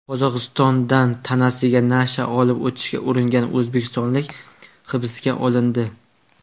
Qozog‘istondan tanasida nasha olib o‘tishga uringan o‘zbekistonlik hibsga olindi.